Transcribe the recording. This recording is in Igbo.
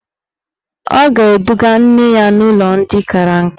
Ọ ga-eduga nne ya n'ụlọ ndị kara nka.